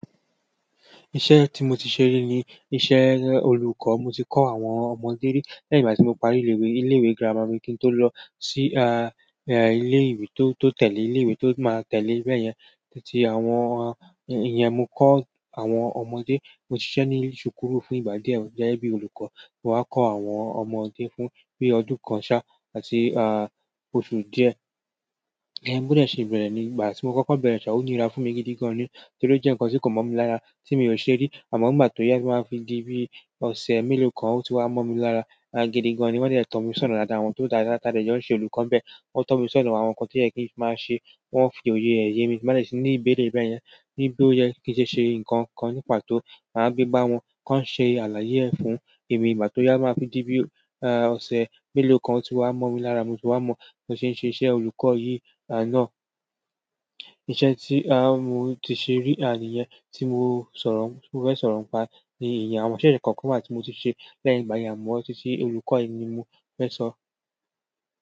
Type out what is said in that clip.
Iṣẹ́ tí mo ti ṣe rí ni iṣẹ́ olùkọ́. Mo ti kọ́ àwọn ọmọdé rí lẹ́yìn ìgbà tí mo parí ilé-ìwé. Ilé-ìwé gírámà mi kí n tó lọ si, ilé-ìwé tó, tó tẹ̀lé, ilé-ìwé tó máa tẹ̀lé bẹ́ẹ̀ yẹn. Títí àwọn, ìyẹn mo kọ́ àwọn ọmọdé, mo ṣiṣẹ́ ní ṣùkúrù fún ìgbà díẹ̀ gẹ́gẹ́ bí olùkọ́. Mo wá kọ àwọn ọmọdé fún bí ọdún kan ṣá, àti, oṣù díẹ̀. Bo 'dẹ̀ ṣe bẹ̀rẹ̀ ní ìgbà tí mo kọ́kọ́ bẹ̀rẹ̀ ṣa, ó níra fún mi gidi gan ni. Nítorí ó jẹ́ ǹkan tí kò mọ̀ mi lára, tí mi ò ṣe rí. Amo nígbà to ya, to ma fi di bi ose melo kan o ti wa mo mi lára gidigan nii. Wọ́n dẹ̀ tọ̀ mí sọ̀na dáàdáà wọ̀n tó dára. Tá dé jẹ́ ó ń ṣe olùkọ́ bẹ́ẹ̀. Wọ́n tọ̀ mí sọ̀na àwọn nǹkan tí ó yẹ kí ń máa ṣe. Wọ́n fi òye ẹ̀ yé mi. Màá dẹ̀ ṣí ní ìbẹ̀rẹ̀ bẹ́ẹ̀ yẹn, ní bí ó yẹ kí n ṣe ṣe nkan kan ní pàtó. Màá gbé bá wọn, kí wọ́n ṣe àlàyé ẹ̀ fún èmi. Ìgbà tó yá máa fi dí bí, ọ̀sẹ̀ mélòó kan, ó ti wá mọ̀ mi lára. Mo ti wá mọ̀ bi won ṣe ń ṣe iṣẹ́ olùkọ́ yìí. Iṣẹ́ tí, mo ti ṣe rí, níyẹn tí mo sọ̀rọ̀, ti mo fẹ́ sọ̀rọ̀ pa ní ìyẹn. Àwọn iṣẹ́ yen kọ̀ọ̀kan wa tí mo ti ṣe lẹ́yìn ìgbà àmọ̀ títí olùkọ́ yìí ni mo fẹ́ sọ.